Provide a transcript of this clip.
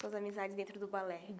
Suas amizades dentro do balé.